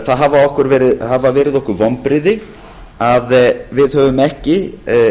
það hafa verið okkur vonbrigði að við höfum ekki